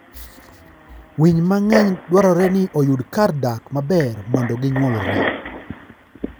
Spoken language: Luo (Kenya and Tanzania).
Winy mang'eny dwarore ni oyud kar dak maber mondo ginyuolre.